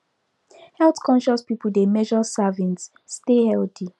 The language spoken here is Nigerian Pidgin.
health conscious people dey measure servings stay healthy